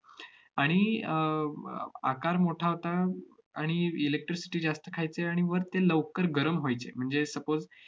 आणि अह अह आकार मोठा होता आणि electricity जास्त खायचे आणि वर ते लवकर गरम व्हायचे. म्हणजे suppose